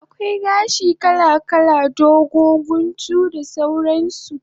Akwai gashi kala kala, dogo, guntu da sauran su